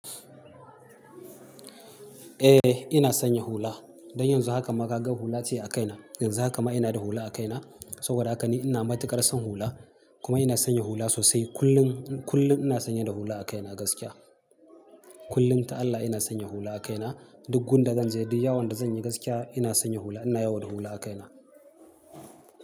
Eh ina sanya hula. Don yanzu haka ma kaga hula ce a kaina. Yanzu haka ma ina da hula a kaina. Saboda haka ni ina matuƙar son hula. Kuma ina sanya hula sosai. Kullun, kullun ina sanye da hula a kaina gaskiya. Kullun ta Allah ina sanya hula a kaina. Duk gun da zan je, duk yawon da zan yi gaskiya ina sanya hula. Ina yawo da hula a kaina.